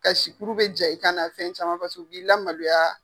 Kasikuru bɛ ja i kan na, fɛn caman b'i la maloya.